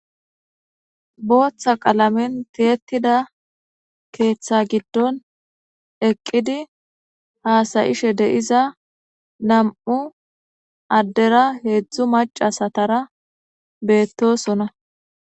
Botha qalamen ti'etida ketha giidon eqidi hasayishe de'iza na'mu adera hezu maca asatara betosona